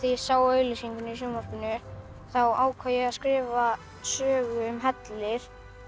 ég sá auglýsinguna í sjónvarpinu þá ákvað ég að skrifa sögu um helli